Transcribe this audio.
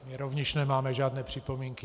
My rovněž nemáme žádné připomínky.